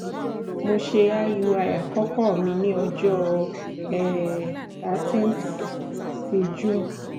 mo ṣe iui akọkọ mi ni ọjọ um thirteen ti june